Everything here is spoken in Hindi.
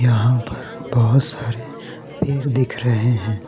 वहां पर बहोत सारे पेड़ दिख रहे हैं।